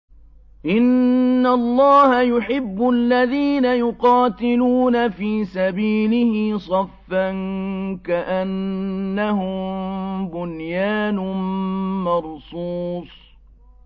إِنَّ اللَّهَ يُحِبُّ الَّذِينَ يُقَاتِلُونَ فِي سَبِيلِهِ صَفًّا كَأَنَّهُم بُنْيَانٌ مَّرْصُوصٌ